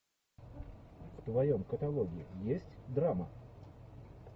в твоем каталоге есть драма